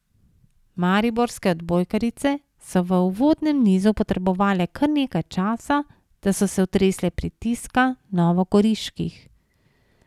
Mariborske odbojkarice so v uvodnem nizu potrebovale kar nekaj časa, da so se otresle pritiska novogoriških.